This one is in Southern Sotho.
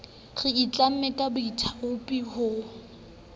re itlamme ka boithaopi ho